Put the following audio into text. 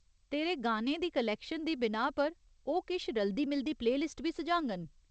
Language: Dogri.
तेरे गानें दी क्लैक्शन दी बिनाह् पर, ओह् किश रलदी मिलदी प्ले लिस्ट बी सुझाङन।